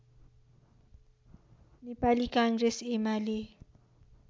Nepali Congress UML